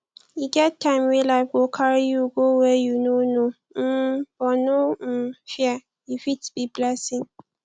e get time wey life go carry you go where you no know um but no um fear e fit be blessing